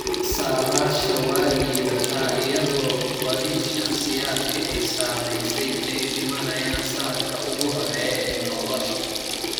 Saadaasha waa liidata iyadoo badi shakhsiyaadka ay saamaysay ay dhimanayaan sanadka ugu horreeya ee nolosha.